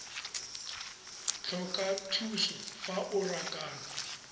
tlhoka thuso fa o rakana